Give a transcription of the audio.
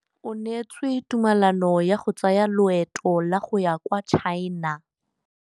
O neetswe tumalanô ya go tsaya loetô la go ya kwa China.